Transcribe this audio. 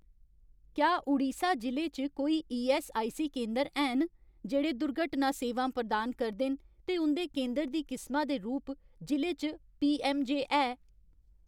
क्या उड़ीसा जि'ले च कोई ईऐस्सआईसी केंदर हैन जेह्ड़े दुर्घटना सेवां प्रदान करदे न ते उं'दे केंदर दी किसमा दे रूप जि'ले च पीऐम्मजे है ?